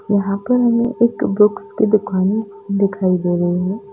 यहाँ पर हमे एक बुक्स की दुकाने दिखाई दे रही है।